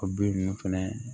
O bin nunnu fɛnɛ